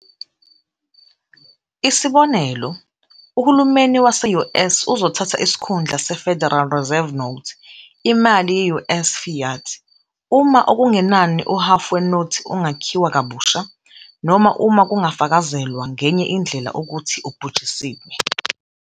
Isibonelo, uhulumeni wase-US uzothatha isikhundla seFederal Reserve Notes, imali ye-US fiat, uma okungenani uhhafu wenothi ungakhiwa kabusha, noma uma kungafakazelwa ngenye indlela ukuthi ubhujisiwe.